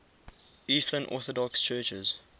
eastern orthodox churches